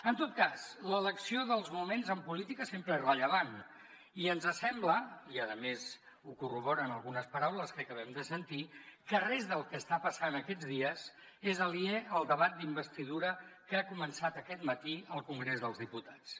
en tot cas l’elecció dels moments en política sempre és rellevant i ens sembla i a més ho corroboren algunes paraules que acabem de sentir que res del que està passant aquests dies és aliè al debat d’investidura que ha començat aquest matí al congrés dels diputats